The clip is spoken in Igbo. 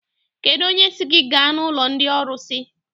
Kedụ onye sị gị gaa n'ụlọ ndị ọrụsị?